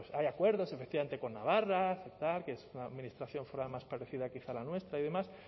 hay acuerdos efectivamente con navarra que es la administración foral más parecida quizá a la nuestra y demás